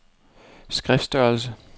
skriftstørrelse